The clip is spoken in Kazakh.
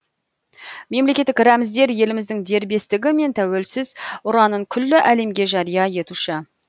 мемлекеттік рәміздер еліміздің дербестігі мен тәуелсіз ұранын күллі әлемге жария етуші